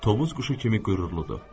Tovuz quşu kimi qürurludur.